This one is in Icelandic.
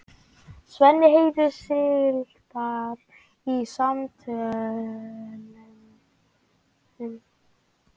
Svenni heyrir slitur úr samtölunum.